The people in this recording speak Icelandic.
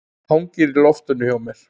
Hangir í loftinu hjá mér.